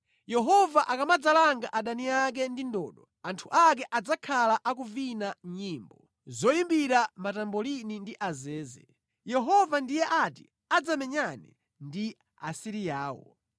Yehova akamadzalanga adani ake ndi ndodo, anthu ake adzakhala akuvina nyimbo zoyimbira matambolini ndi azeze, Yehova ndiye ati adzamenyane ndi Asiriyawo.